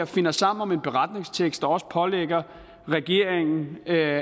finder sammen om en beretningstekst der også pålægger regeringen at